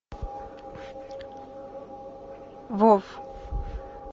вов